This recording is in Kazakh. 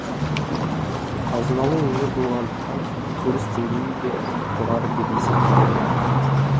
қазыналы өңір болғандықтан күнкөріс деңгейі де жоғары деп есептеледі